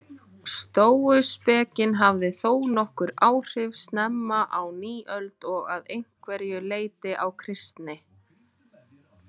Stóuspekin hafði þónokkur áhrif snemma á nýöld og að einhverju leyti á kristni.